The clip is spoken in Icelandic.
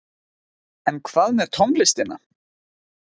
En hvað með tónlistina?